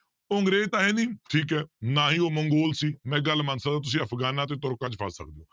ਉਹ ਅੰਗਰੇਜ ਤਾਂ ਹੈ ਨੀ ਠੀਕ ਹੈ ਨਾ ਹੀ ਉਹ ਮੰਗੋਲ ਸੀ ਮੈਂ ਇੱਕ ਗੱਲ ਮੰਨ ਸਕਦਾਂ ਤੁਸੀਂ ਅਫਗਾਨਾਂ ਤੇ ਤੁਰਕਾਂ 'ਚ ਫਸ ਸਕਦੇ